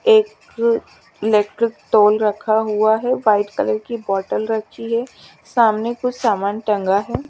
एक रखा हुआ है वाइट कलर की बोटल रखी है सामने कुछ सामान टंगा है।